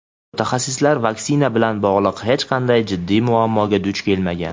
mutaxassislar vaksina bilan bog‘liq hech qanday jiddiy muammoga duch kelmagan.